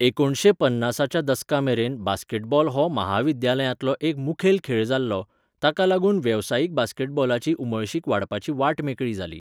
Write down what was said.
एकुणीसशें पन्नासाच्या दसकामेरेन बास्केटबॉल हो महाविद्यालयांतलो एक मुखेल खेळ जाल्लो, ताका लागून वेवसायीक बास्केटबॉलाची उमळशीक वाडपाची वाट मेकळी जाली.